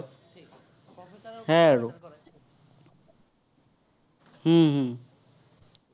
হম হম